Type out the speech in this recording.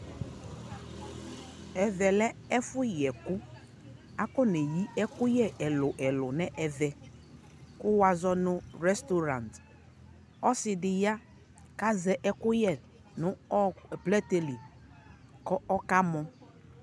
ɛvɛ lɛ ɛfʋ yɛkʋ, akɔnɛ yi ɛkʋyɛ ɛlʋɛlʋ nʋ ɛvɛ kʋ wazɔnʋ restaurant, ɔsiidi ya kʋ azɛ ɛkʋyɛ nʋ ɔkʋplɛtɛ li kʋ ɔkamɔ